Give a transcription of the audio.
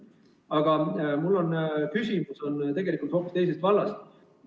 Aga mu küsimus on tegelikult hoopis teisest vallast.